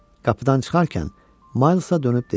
Qapıdan çıxarkən Maylsa dönüb dedi: